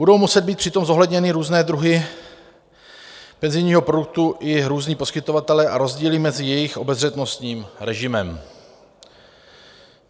Budou muset být přitom zohledněny různé druhy penzijního produktu i různí poskytovatelé a rozdíly mezi jejich obezřetnostním režimem.